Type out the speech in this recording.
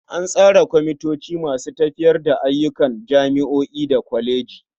An tsara kwamitoci masu tafiyar da ayyukan jami'o'i da kwalejoji.